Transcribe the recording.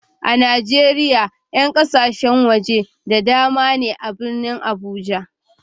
A Najeriya 'yan kasashen waje da dama ne a birnin Abuja.